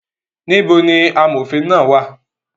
Níbo ni amòfin náà wà?